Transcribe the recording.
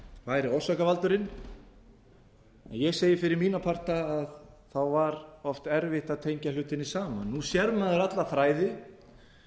væri orsakavaldurinn en ég segi fyrir mína parta að þá var oft erfitt að tengja hlutina saman nú sér maður alla þræði